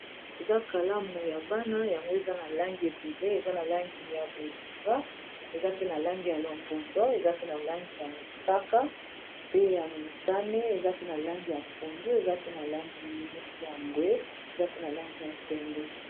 eza kalamu ya bana yango eza na langi ebele eza na langi ya bozinga eza pe na langi ya lombundo eza pe na langi ya mosaka pe ya mutane eza pe na langi ya pundu eza pe na langi yineti ya mbwe eza pe na langi ya pembe